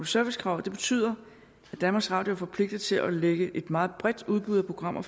service kravet betyder at danmarks radio er forpligtet til at lægge et meget bredt udbud af programmer